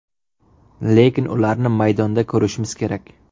Lekin ularni maydonda ko‘rishimiz kerak.